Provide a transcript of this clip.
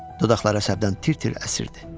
Dodaqlar əsəbdən tir-tir əsirdi.